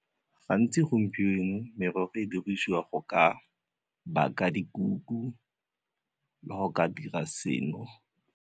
Gantsi gompieno, merogo e dirisiwa go ka baka dikuku le go ka dira seno.